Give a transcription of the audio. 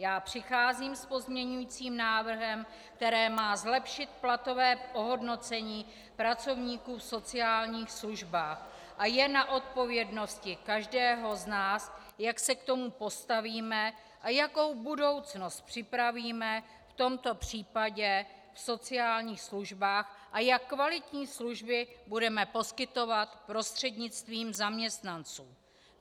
Já přicházím s pozměňujícím návrhem, který má zlepšit platové ohodnocení pracovníků v sociálních službách, a je na odpovědnosti každého z nás, jak se k tomu postavíme a jakou budoucnost připravíme v tomto případě v sociálních službách a jak kvalitní služby budeme poskytovat prostřednictvím zaměstnanců.